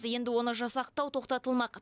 енді оны жасақтау тоқтатылмақ